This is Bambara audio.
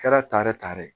Kɛra tare tare